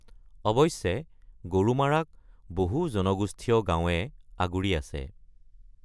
অৱশ্যে গৰুমাৰাক বহু জনগোষ্ঠীয় গাঁৱে আগুৰি আছে।